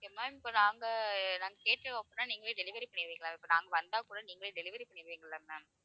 okay ma'am இப்ப நாங்க, நாங்க கேட்டோம் அப்படின்னா, நீங்களே delivery பண்ணிருவிங்களா இப்ப நாங்க வந்தா கூட, நீங்களே delivery பண்ணிருவிங்களா ma'am